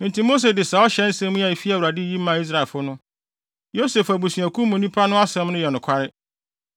Enti Mose de saa ɔhyɛ nsɛm a efi Awurade yi maa Israelfo no: “Yosef abusuakuw mu nnipa no asɛm no yɛ nokware.